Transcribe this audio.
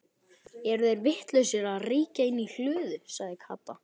Eru þeir vitlausir að reykja inni í hlöðu? sagði Kata.